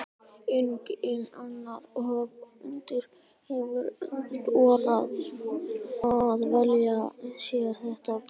Enginn annar höfundur hefur þorað að velja sér þetta birtingarform.